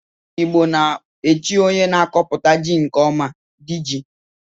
Igbo na-echi onye na-akọputa ji nke ọma 'di ji'